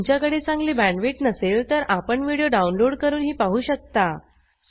जर तुमच्याकडे चांगली बॅण्डविड्थ नसेल तर आपण व्हिडिओ डाउनलोड करूनही पाहू शकता